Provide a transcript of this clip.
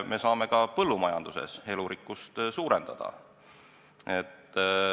Me saame ka põllumajanduses elurikkust suurendada.